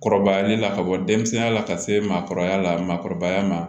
Kɔrɔbayali la ka bɔ denmisɛnninya la ka se maakɔrɔba la maakɔrɔbaya ma